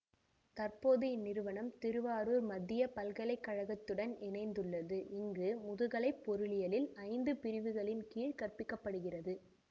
தற்போது இந்நிறுவனம் திருவாரூர் மத்திய பல்கலை கழகத்துடன் இணைந்துள்ளது இங்கு முதுகலை பொருளியலில் ஐந்து பிரிவுகளின் கீழ் கற்பிக்கப்படுகிறது